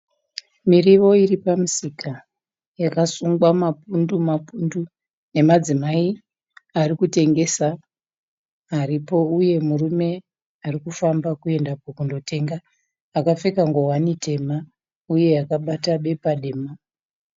Miriwo iripamusika yakasungwa mapundu mapundu nemadzimai arikutengesa aripo uye murume arukufamba kuenda kunotenga akapfeka ngowani tema uye akabata bepa dema.